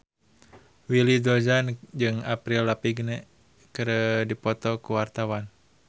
Willy Dozan jeung Avril Lavigne keur dipoto ku wartawan